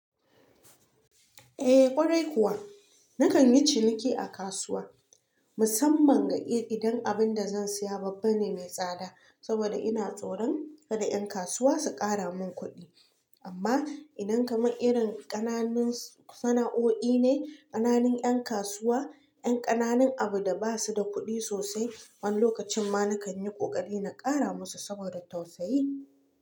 Eh kwarai kuwa. Nakan yi ciniki a kasuwa musamman ga idan abun da zan siya babba ne mai tsada saboda ina tsoron kada 'yan kasuwa su ƙara mun kuɗi. Amma idan kamar irin ƙananun sana'o'i ne, ƙananun 'yan kasuwa, 'yan ƙananun abu da ba su da kuɗi sosai, wani lokacin ma nakan yi ƙoƙari na ƙara musu saboda tausayi.